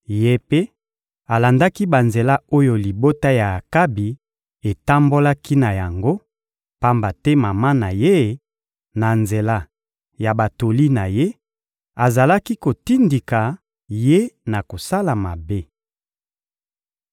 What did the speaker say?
Ye mpe alandaki banzela oyo libota ya Akabi etambolaki na yango, pamba te mama na ye, na nzela ya batoli na ye, azalaki kotindika ye na kosala mabe.